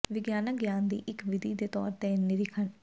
ਵਿਗਿਆਨਕ ਗਿਆਨ ਦੀ ਇੱਕ ਵਿਧੀ ਦੇ ਤੌਰ ਤੇ ਨਿਰੀਖਣ